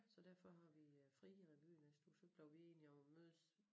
Så derfor har vi øh fri i revy æ næste uge så blev vi enige om at mødes